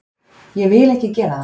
Ég vil ekki gera það.